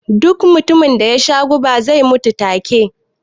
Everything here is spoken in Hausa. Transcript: Duk mutumin da yasha guba zai mutu ta ke